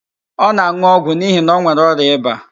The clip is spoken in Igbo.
Ọ na-an̄ụ ọgwụ n'ihi na ọ nwere ọrịa ịba